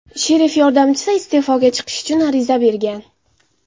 Sherif yordamchisi iste’foga chiqish uchun ariza bergan.